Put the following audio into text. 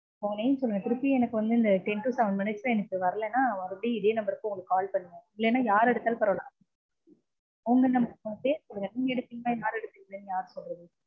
உங்க name சொல்லுங்க. திருப்பி எனக்கு வந்து இந்த ten to seven minutes ல எனக்கு வரலனா திருப்பி இதே number க்கு உங்களுக்கு call பண்ணுவேன். இல்லனா யார் எடுத்தாலும் பரவால்ல. உங்க பேர் சொல்லுங்க. நீங்க எடுப்பீங்களா யார் எடுப்பீங்கனு யார் சொல்றது.